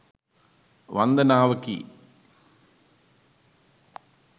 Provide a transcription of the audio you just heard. වන්දනාවකි.